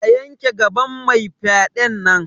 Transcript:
A yanke gaban mai fyaɗen nan!